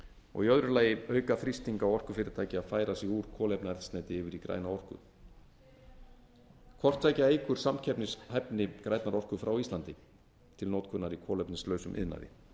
og í öðru lagi auka þrýsting á orkufyrirtæki að færa sig úr kolefnaeldsneyti yfir í græna orku hvort tveggja eykur samkeppnishæfni grænnar orku frá íslandi til notkunar í kolefnislausum iðnaði